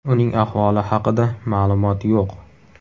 Uning ahvoli haqida maʼlumot yo‘q.